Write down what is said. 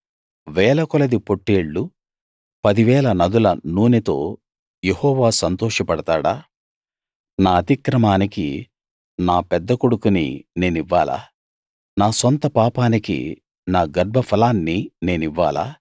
వేలకొలది పొట్టేళ్లు పది వేల నదుల నూనెతో యెహోవా సంతోష పడతాడా నా అతిక్రమానికి నా పెద్ద కొడుకుని నేనివ్వాలా నా సొంత పాపానికి నా గర్భఫలాన్ని నేనివ్వాలా